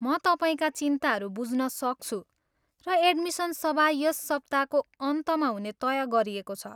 म तपाईँका चिन्ताहरू बुझ्न सक्छु र एडमिन सभा यस सप्ताको अन्तमा हुने तय गरिएको छ।